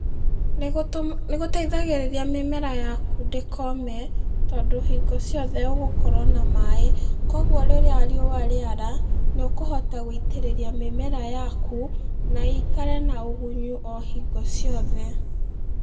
Nĩgũtũ, nĩgũteithagĩrĩria mĩmera yaku ndĩkome, tondũ hĩngo ciothe ũgũkorwo na maĩ, koguo rĩrĩa riũa rĩara, nĩũkũhota gũitĩrĩria mĩmera yaku, na ĩikare na ũgunyu o hingo ciothe.